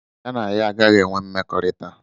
Ya na ya agaghị enwe mmekọrịta.